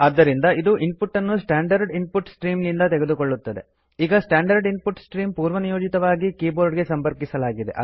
ಆದ್ದರಿಂದ ಇದು input ಅನ್ನು ಸ್ಟ್ಯಾಂಡರ್ಡ್ ಇನ್ ಪುಟ್ ಸ್ಟ್ರೀಮ್ ನಿಂದ ತೆಗೆದುಕೊಳ್ಳುತ್ತದೆ ಈಗ ಸ್ಟ್ಯಾಂಡರ್ಡ್ ಇನ್ ಪುಟ್ ಸ್ಟ್ರೀಮ್ ಪೂರ್ವನಿಯೋಜಿತವಾಗಿ ಕೀ ಬೋರ್ಡ್ ಗೆ ಸಂಪರ್ಕಿಸಲಾಗಿದೆ